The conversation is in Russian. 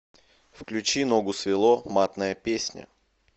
включи ногу свело матная песня